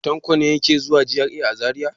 Tanko ne yake zuwa GRA a Zariya.